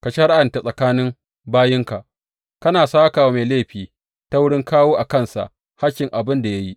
Ka shari’anta tsakanin bayinka, kana sāka wa mai laifi ta wurin kawo a kansa hakkin abin da ya yi.